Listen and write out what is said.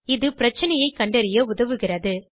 இது பிரச்சனையைக் கண்டறிய உதவுகிறது